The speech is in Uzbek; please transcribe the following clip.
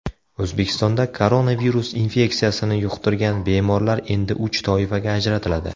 O‘zbekistonda koronavirus infeksiyasini yuqtirgan bemorlar endi uch toifaga ajratiladi.